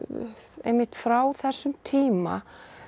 einmitt frá þessum tíma